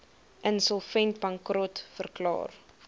insolvent bankrot verklaar